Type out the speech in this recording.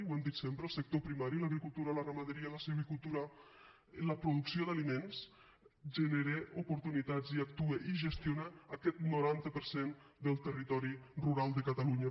ho hem dit sempre el sector primari l’agricultura la ramaderia la silvicultura la producció d’aliments genera oportunitats i actua i gestiona aquest noranta per cent del territori rural de catalunya